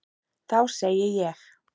Þá segi ég.